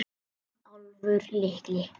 Og Álfur litli.